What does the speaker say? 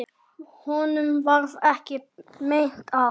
Honum varð ekki meint af.